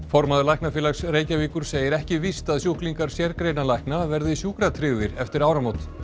formaður Læknafélags Reykjavíkur segir ekki víst að sjúklingar sérgreinalækna verði sjúkratryggðir eftir áramót